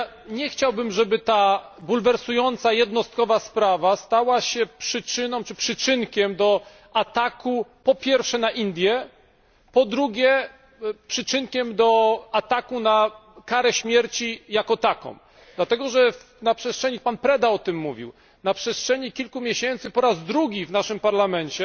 Nie chciałbym, żeby ta bulwersująca, jednostkowa sprawa stała się przyczyną czy przyczynkiem do ataku po pierwsze na Indie, po drugie na karę śmierci jako taką, dlatego, że o czym mówił pan Preda na przestrzeni kilku miesięcy po raz drugi w naszym Parlamencie